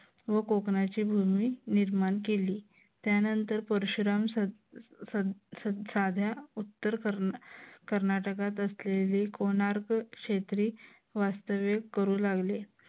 व कोकणची भूमी निर्माण केली. त्यानंतर परशुराम साध्या उत्तर कर्नाटकात असलेले कोणार्क क्षेत्री वास्तव्य करू लागले.